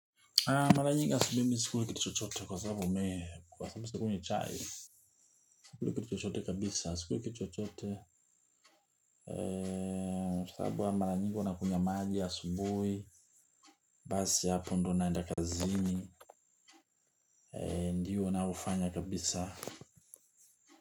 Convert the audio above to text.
Mara nyingi asubuhi mimi sikuli kitu chochote kwa sababu umeekewa sababu sikunywi chai. Sikuli kitu chochote kabisa sikuli kitu chochote. Kwa sababu ya mara nyingi hwana kunya magia asubui. Basi hapo ndio naenda kazini. Ndiyo wanaofanya kabisa.